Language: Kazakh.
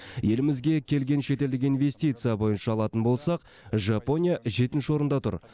елімізге келген шетелдік инвестиция бойынша алатын болсақ жапония жетінші орында тұр